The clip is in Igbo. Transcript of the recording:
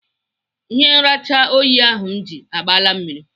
Ihe nracha oyi ahụ m ji agbala mmiri.